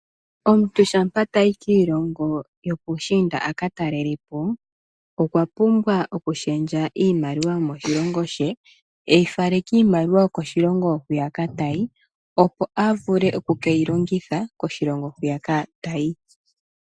Omuntu shampa tayi kiilongo yo puushinda aka talelapo okwapumbwa okushendja iimaliwa yomoshilongo she eyi tule miimaliwa yokoshilongo hoka tayi opo a vule oku ke yi longitha koshilongo hoka tayi.